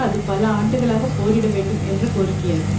அது பல ஆண்டுகளாக போரிட வேண்டும் என்ற கோரிக்கையாகும்